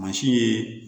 Mansin ye